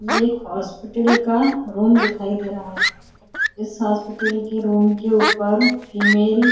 ये एक हॉस्पिटल का रूम दिखाई दे रहा हैं इस हॉस्पिटल के रूम के ऊपर फीमेल --